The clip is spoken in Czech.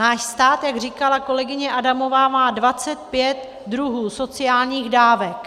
Náš stát, jak říkala kolegyně Adamová, má 25 druhů sociálních dávek.